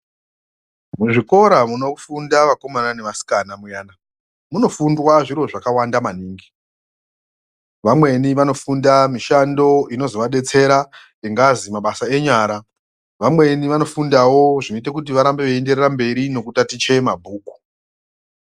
Muzvikora munofunda vakomana nevasikana muyana munofundwa zvakawanda maningi vamweni vanofunda mishando inozovadetsera ingazi mabasa enyara vamweni vanofunda wo zvinoite kuti varambe veyitaticha mabhuku.